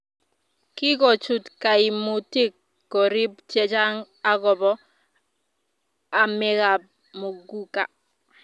kikochut kaimutik korik chechang akobo amekab muguka